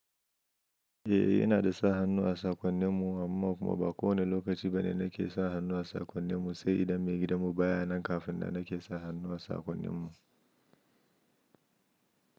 Eh, ina da sa hannu a sakonnin mu amma kuma ba kowane lokaci bane nake sa hannu a sakonnin mu. Sai idan maigidan mu baya nan kafin da nake sa hannu a sakonnin mu.